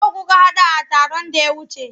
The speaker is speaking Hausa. Nawa kuka haɗa a taron da ya wuce?